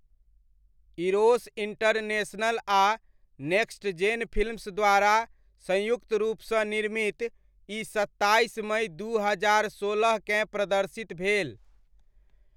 Eros International आ Next Gen Films द्वारा संयुक्त रूपसँ निर्मित, ई सत्ताइस मइ दू हजार सोलहकेँ प्रदर्शित भेल।